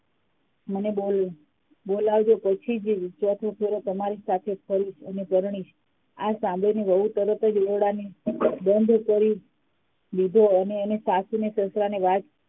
મને બોલ બોલાવજો પછી ચોથો ફેરો તમારી સાથે ફરીશ અને પરણીશ આ સાંભળીને વહુ તરત જ ઓરડાને બંધ કરી લીધો અને એને સાસુ અને સસરાને વાત